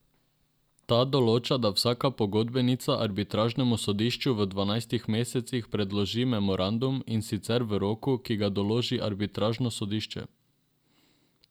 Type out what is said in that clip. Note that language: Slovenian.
Ta določa, da vsaka pogodbenica arbitražnemu sodišču v dvanajstih mesecih predloži memorandum, in sicer v roku, ki ga določi arbitražno sodišče.